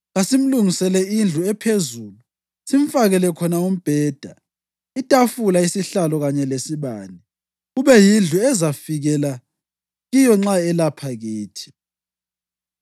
Kasimlungisele indlu ephezulu simfakele khona umbheda, itafula, isihlalo kanye lesibane. Kube yindlu azafikela kiyo nxa elapha kithi.”